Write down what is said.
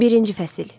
Birinci fəsil.